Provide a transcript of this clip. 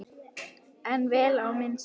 En vel á minnst.